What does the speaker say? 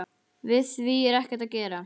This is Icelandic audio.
Við því er ekkert að gera.